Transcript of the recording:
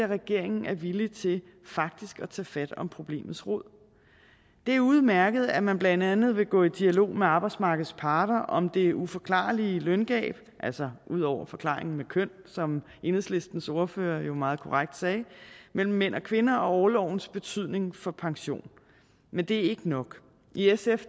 regeringen er villig til faktisk at tage fat om problemets rod det er udmærket at man blandt andet vil gå i dialog med arbejdsmarkedets parter om det uforklarlige løngab altså ud over forklaringen med køn som enhedslistens ordfører jo meget korrekt sagde mellem mænd og kvinder og orlovens betydning for pension men det er ikke nok i sf